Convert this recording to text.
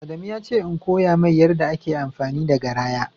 Adamu yace in koya mai yarɗa ake amfani da garaya